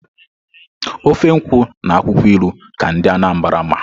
ofe nkwụ na akwụkwọ ilu ka ndị Anambra ma.